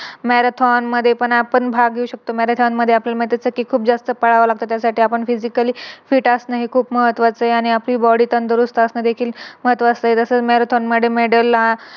Marathon मध्ये पण आपण भाग घेऊ शकतो. Marathon मध्ये आपण जस कि खूप जास्त पलाव लागत त्यासाठी आपण Physically phi असणे हे खूप महत्वाचे आहे आणि आपली Body पण देखील दुरुस्त असणे देखील महत्वाचे आहे जस Marathon मध्ये Medal